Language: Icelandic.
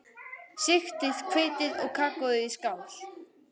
Sigtið hveitið og kakóið í skál.